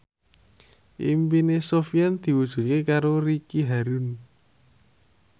impine Sofyan diwujudke karo Ricky Harun